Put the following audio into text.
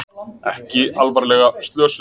Ekki alvarlega slösuð